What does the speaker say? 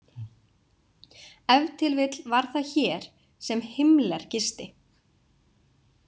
Ef til vill var það hér sem Himmler gisti.